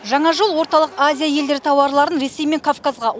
жаңа жол орталық азия елдері тауарларын ресей мен кавказға